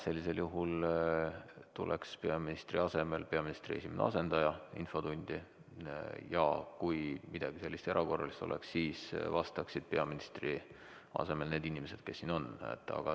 Sellisel juhul tuleks peaministri asemel peaministri esimene asendaja infotundi ja kui midagi sellist erakorralist oleks, siis vastaksid peaministri asemel need inimesed, kes siin on.